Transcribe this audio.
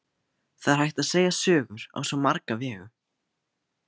Það er hægt að segja sögur á svo marga vegu.